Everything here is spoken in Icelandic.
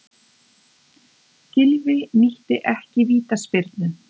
Gylfi nýtti ekki vítaspyrnu